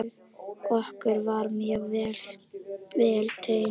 Okkur var mjög vel tekið.